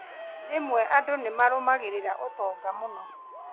Rĩmwe andũ nĩmarũmagĩrĩra ũtonga mũno